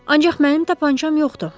Ancaq mənim tapançam yoxdur.